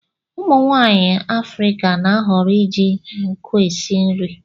Umu nwaanyi Afirika na-ahọrọ iji nkụ esi nri.